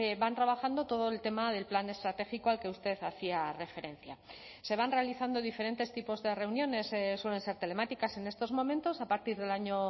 van trabajando todo el tema del plan estratégico al que usted hacía referencia se van realizando diferentes tipos de reuniones suelen ser telemáticas en estos momentos a partir del año